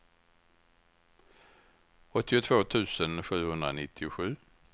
åttiotvå tusen sjuhundranittiosju